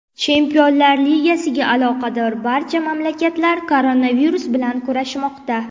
Chempionlar Ligasiga aloqador barcha mamlakatlar koronavirus bilan kurashmoqda.